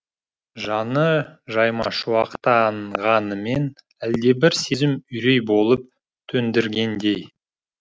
жаны жаймашуақтанғанымен әлдебір сезім үрей болып төндіргендей